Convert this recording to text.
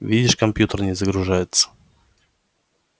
видишь компьютер не загружается